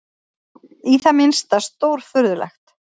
Í það minnsta stórfurðulegt.